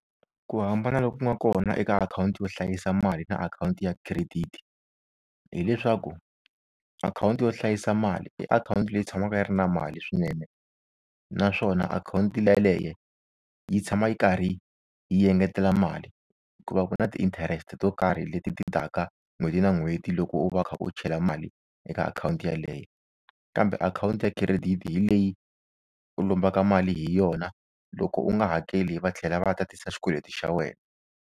Ku hambana loku nga kona eka akhawunti yo hlayisa mali na akhawunti ya credit hileswaku akhawunti yo hlayisa mali i akhawunti leyi tshamaka yi ri na mali swinene naswona akhawunti yeleyo yi tshama yi karhi yi engetela mali ku va ku na ti-interest to karhi leti ti taka n'hweti na n'hweti loko u va u kha u chela mali eka akhawunti yeleyo kambe akhawunti ya credit hi leyi u lombaka mali hi yona loko u nga hakeli va tlhela va tatisa xikweleti xa wena.